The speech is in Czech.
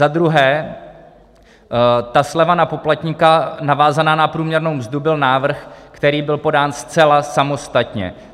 Za druhé, ta sleva na poplatníka navázaná na průměrnou mzdu byl návrh, který byl podán zcela samostatně.